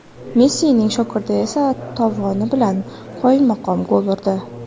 Messining "shogirdi" esa tovoni bilan qoyilmaqom gol urdi..